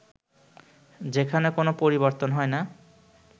যেখানে কোন পরিবর্তন হয় না